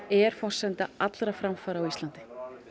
er forsenda allra framfara á Íslandi